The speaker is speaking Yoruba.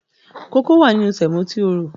Kókó wà nínú sèmò tí o rò.